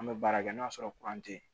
An bɛ baara kɛ n'o y'a sɔrɔ tɛ